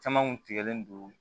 Caman kun tigɛlen don